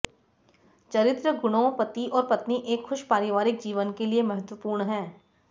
चरित्र गुणों पति और पत्नी एक खुश पारिवारिक जीवन के लिए महत्वपूर्ण हैं